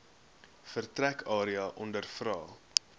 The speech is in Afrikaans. vertrek area ondervra